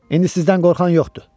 İndi sizdən qorxan yoxdur.